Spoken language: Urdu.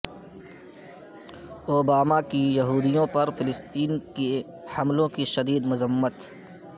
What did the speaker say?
اوباماکی یہودیوں پر فلسطینیوں کے حملوں کی شدید مذمت